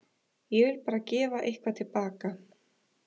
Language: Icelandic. Ég vil bara gefa eitthvað til baka.